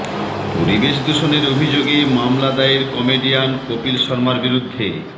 পরিবেশ দূষণের অভিযোগে মামলা দায়ের কমেডিয়ান কপিল শর্মার বিরুদ্ধে